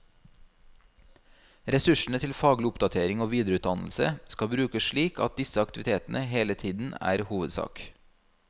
Ressursene til faglig oppdatering og videreutdannelse skal brukes slik at disse aktivitetene hele tiden er hovedsak.